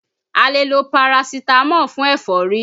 A lè lo Parasitamọ́ọ̀ fún ẹ̀fọ́rí